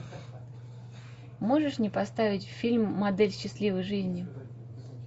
можешь мне поставить фильм модель счастливой жизни